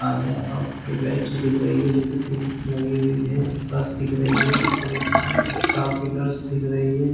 आवया और two beds दिख रही है जो की तीन लगी हुई है मस्त दिख रही हैं और एक चार पिलर्स दिख रही है।